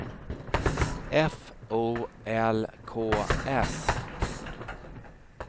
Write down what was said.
F O L K S